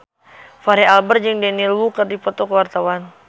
Fachri Albar jeung Daniel Wu keur dipoto ku wartawan